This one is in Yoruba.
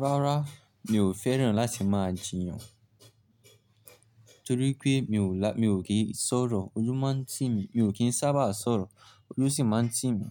Rárá, mi ò fẹ́ràn láti máa jiyàn, torí pé mi ò kí ń sọ̀rọ̀, ojú máa ń tì mí, mi ò kí ń sábà sọ̀rọ̀, ojú sì máa ń tì mí.